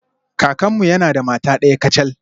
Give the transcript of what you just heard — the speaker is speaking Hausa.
Kakanmu yana da mata daya kacal.